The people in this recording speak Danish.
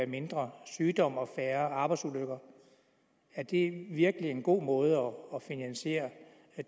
mindre sygdom og færre arbejdsulykker er det virkelig en god måde at finansiere